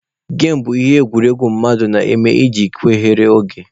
Gem bụ ihe egwuregwu mmadụ na-eme iji chere oge.